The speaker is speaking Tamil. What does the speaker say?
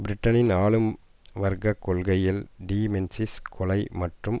பிரிட்டனின் ஆளும் வர்க்க கொள்கைகள் டி மென்சிஸ் கொலை மற்றும்